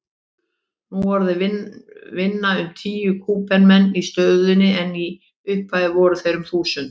Nú orðið vinna um tíu Kúbumenn í stöðinni en í upphafi voru þeir um þúsund.